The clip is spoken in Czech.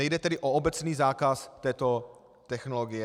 Nejde tedy o obecný zákaz této technologie.